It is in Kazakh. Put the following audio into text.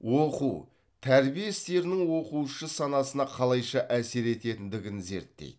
оқу тәрбие істерінің оқушы санасына қалайша әсер ететіндігін зерттейді